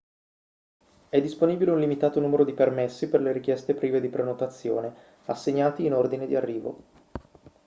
è disponibile un limitato numero di permessi per le richieste prive di prenotazione assegnati in ordine di arrivo